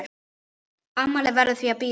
Afmælið verður því að bíða.